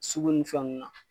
Sugu ni fɛn nunnu na.